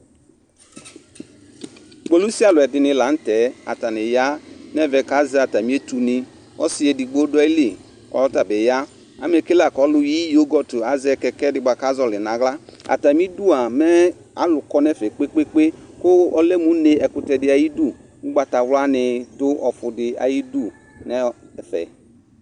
Kpolusialʋ dɩnɩ la nʋ tɛ Atanɩ ya nʋ ɛvɛ kʋ azɛ atamɩ etunɩ Ɔsɩ edigbo dʋ ayili kʋ ɔta bɩ ya Amɛ ke la kʋ ɔlʋyi yogɔt azɛ kɛkɛ dɩ bʋa kʋ azɔɣɔlɩ nʋ aɣla Atamɩdu a mɛ alʋ kɔ nʋ ɛfɛ kpe-kpe-kpe kʋ ɔlɛ mʋ une, ɛkʋtɛ dɩ ayidu Ʋgbatawlanɩ dʋ ɔfʋ dɩ ayidu nʋ ɛfɛ